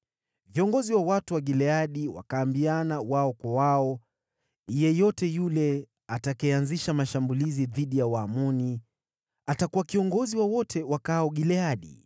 Viongozi wa watu wa Gileadi wakaambiana wao kwa wao, “Yeyote yule atakayeanzisha mashambulizi dhidi ya Waamoni atakuwa kiongozi wa wote wakaao Gileadi.”